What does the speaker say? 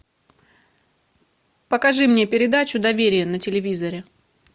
покажи мне передачу доверие на телевизоре